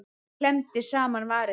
Klemmdi saman varirnar.